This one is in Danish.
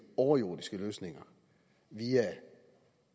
overjordiske løsninger via